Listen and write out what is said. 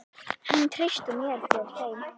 Hann treysti mér fyrir þeim.